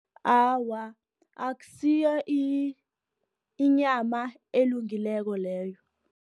Awa, akusiyo inyama elungileko leyo.